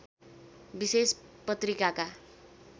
विशेष पत्रिकाका